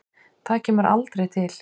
Það kemur aldrei til.